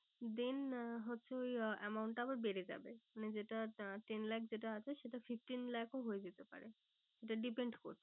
Then আহ হচ্ছে ওই amount টা আবার বেড়ে যাবে। মানে যেটা ten lakhs যেটা আছে সেটা fifteen lakhs ও হয়ে যেতে পারে। এটা depend করছে